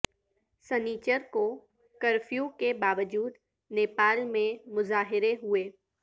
سنیچر کو کرفیو کے باوجود نیپال میں مظاہرے ہوئے